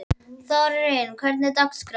Þórörn, hvernig er dagskráin?